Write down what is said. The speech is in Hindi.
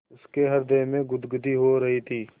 उसके हृदय में गुदगुदी हो रही थी